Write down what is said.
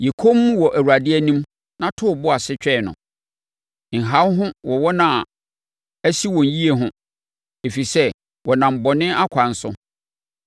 Yɛ komm wɔ Awurade anim na to wo bo ase twɛn no, nha wo ho wɔ wɔn a asi wɔn yie ho ɛfiri sɛ wɔnam bɔne akwan so.